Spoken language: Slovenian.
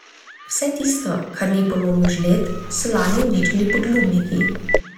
Vse tisto, kar ni polomil žled, so lani uničili podlubniki.